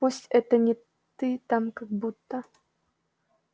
пусть это не ты там как будто